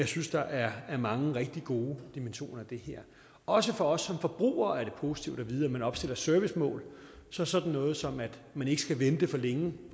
synes der er mange rigtig gode dimensioner i det her også for os som forbrugere er det positivt at vide at man opstiller servicemål så sådan noget som at man ikke skal vente for længe